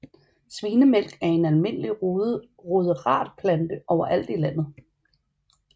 Svinemælk er en almindelig ruderatplante overalt i landet